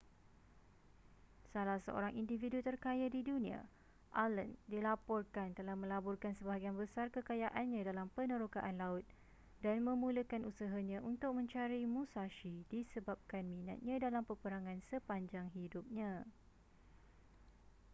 salah seorang individu terkaya di dunia allen dilaporkan telah melaburkan sebahagian besar kekayaannya dalam penerokaan laut dan memulakan usahanya untuk mencari musashi disebabkan minatnya dalam peperangan sepanjang hidupnya